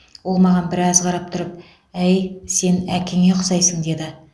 ол маған біраз қарап тұрып әй сен әкеңе ұқсайсың деді